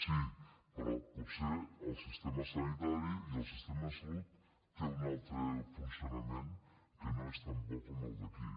sí però potser el sistema sanitari i el sistema de salut tenen un altre funcionament que no és tan bo com el d’aquí